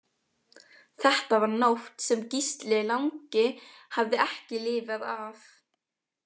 Þetta var nótt sem Gísli langi hafði ekki lifað af.